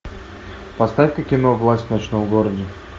поставь ка кино власть в ночном городе